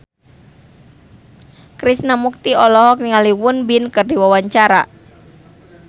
Krishna Mukti olohok ningali Won Bin keur diwawancara